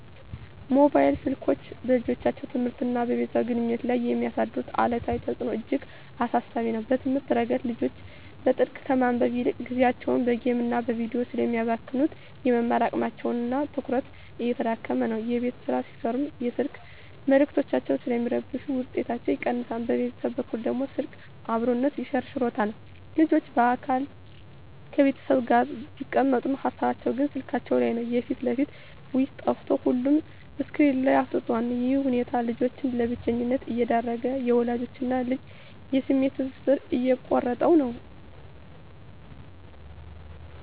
ሞባይል ስልኮች በልጆች ትምህርትና በቤተሰብ ግንኙነት ላይ የሚያሳድሩት አሉታዊ ተጽዕኖ እጅግ አሳሳቢ ነው። በትምህርት ረገድ፣ ልጆች በጥልቀት ከማንበብ ይልቅ ጊዜያቸውን በጌምና በቪዲዮ ስለሚያባክኑ፣ የመማር አቅማቸውና ትኩረታቸው እየተዳከመ ነው። የቤት ሥራ ሲሠሩም የስልክ መልዕክቶች ስለሚረብሹ ውጤታቸው ይቀንሳል። በቤተሰብ በኩል ደግሞ፣ ስልክ "አብሮነትን" ሸርሽሮታል። ልጆች በአካል ከቤተሰብ ጋር ቢቀመጡም፣ ሃሳባቸው ግን ስልካቸው ላይ ነው። የፊት ለፊት ውይይት ጠፍቶ ሁሉም ስክሪን ላይ አፍጥጧል። ይህ ሁኔታ ልጆችን ለብቸኝነት እየዳረገ፣ የወላጅና ልጅን የስሜት ትስስር እየቆረጠው ነው።